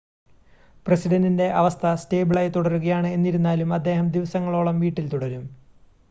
പ്രസിഡൻ്റിൻ്റെ അവസ്ഥ സ്റ്റേബിളായി തുടരുകയാണ് എന്നിരുന്നാലും അദ്ദേഹം ദിവസങ്ങളോളം വീട്ടിൽ തുടരും